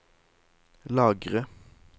lagre